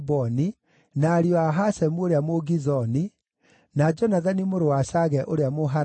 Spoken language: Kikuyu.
na ariũ a Hashemu ũrĩa Mũgizoni, na Jonathani mũrũ wa Shage ũrĩa Mũharari,